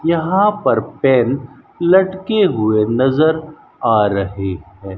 यहां पर पेन लटके हुए नजर आ रहे हैं।